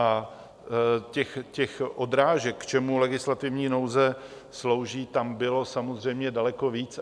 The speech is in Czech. A těch odrážek, k čemu legislativní nouze slouží, tam bylo samozřejmě daleko víc.